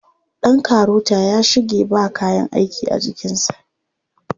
Ɗan karota ya shige ba kayan aiki a jikinsa.